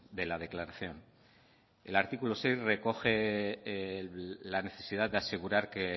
de la declaración el artículo seis recoge la necesidad de asegurar que